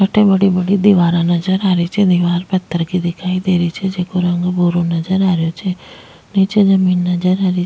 अठे बड़ी बड़ी दीवारा नजर आ रही छे दिवार पत्थर की दिखाई दे रही छे जिको रंग भूरो नजर आ रहियो छे नीचे जमीन नजर आ रही --